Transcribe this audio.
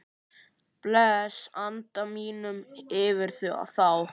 Blæs anda mínum yfir þá.